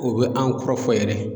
O be an kɔrɔ fɔ yɛrɛ